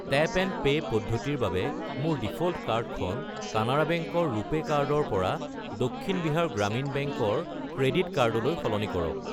Tap and pay পদ্ধতিৰ বাবে মোৰ ডিফ'ল্ট কাৰ্ডখন কানাড়া বেংক ৰ ৰুপে কাৰ্ড ৰ পৰা দক্ষিণ বিহাৰ গ্ৰামীণ বেংক ৰ ক্ৰেডিট কাৰ্ড লৈ সলনি কৰক।